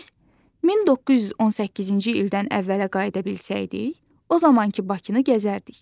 Biz 1918-ci ildən əvvələ qayıda bilsəydik, o zamankı Bakını gəzərdik.